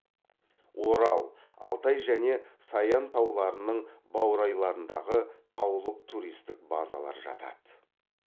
орал алтай және саян тауларының баурайларындағы таулық туристік базалар жатады